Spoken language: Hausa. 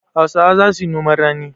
Hausawa za su yi noman rani.